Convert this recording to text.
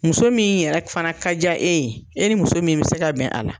Muso min yɛrɛ fana ka ja e ye e ni muso min bi se ka bɛn a la.